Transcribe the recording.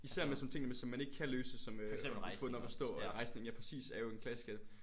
Især med sådan nogle ting som man ikke kan løse som øh at få den op at stå og rejsning ja præcis er jo en klassiker